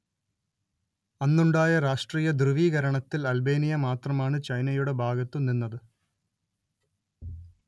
അന്നുണ്ടായ രാഷ്ട്രീയ ധ്രുവീകരണത്തിൽ അൽബേനിയ മാത്രമാണ് ചൈനയുടെ ഭാഗത്തു നിന്നത്